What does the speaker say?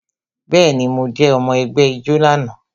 Bẹẹni, mo jẹ́ ọmọ ẹgbẹ́ ijó náà